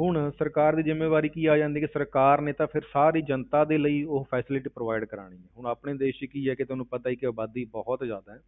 ਹੁਣ ਸਰਕਾਰ ਦੀ ਜ਼ਿੰਮੇਵਾਰੀ ਕੀ ਆ ਜਾਂਦੀ ਕਿ ਸਰਕਾਰ ਨੇ ਤਾਂ ਫਿਰ ਜਨਤਾ ਦੇ ਲਈ ਉਹ facility provide ਕਰਵਾਉਣੀ ਹੈ, ਹੁਣ ਆਪਣੇ ਦੇਸ ਵਿੱਚ ਕੀ ਹੈ ਕਿ ਤੁਹਾਨੂੰ ਪਤਾ ਹੀ ਹੈ ਕਿ ਆਬਾਦੀ ਬਹੁਤ ਜ਼ਿਆਦਾ ਹੈ,